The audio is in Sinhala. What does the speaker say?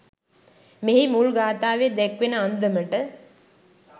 මෙහි මුල් ගාථාවේ දැක්වෙන අන්දමට